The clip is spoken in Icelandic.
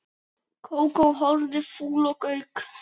Kókó horfði fúl á Gauk.